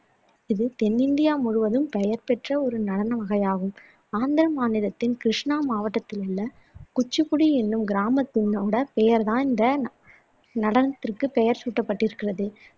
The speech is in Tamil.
இது தென்னிந்தியா முழுவதும் பெயர்பெற்ற ஒரு நடன வகையாகும் ஆந்திர மாநிலத்தின் கிருஷ்ணா மாவட்டத்திலுள்ள குச்சிபுடி என்னும் கிராமத்தினை கொண்ட பெயர்தான் இந்த நடனத்துக்கு பெயர் சூட்டப்பட்டிருக்கிறது